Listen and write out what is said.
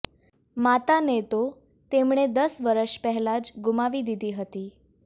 માતાને તો તેમણે દસ વર્ષ પહેલાં જ ગુમાવી દીધી હતી